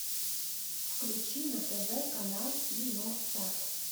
включи на тв канал киносат